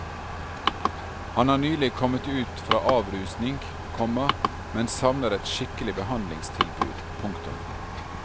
Han har nylig kommet ut fra avrusning, komma men savner et skikkelig behandlingstilbud. punktum